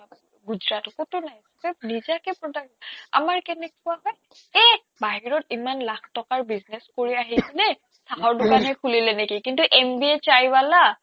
গুজৰাটৰ ক'তো নাই তাত নিজাকে product আমাৰ কেনেকুৱা হয় এহ্ বাহিৰত ইমান লাখ টকাৰ business কৰি আহি পিনে চাহৰ দোকানে খুলিলে নেকি কিন্তু MBA chai wala